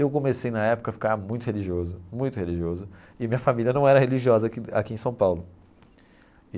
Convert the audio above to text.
Eu comecei, na época, a ficar muito religioso, muito religioso, e minha família não era religiosa aqui aqui em São Paulo.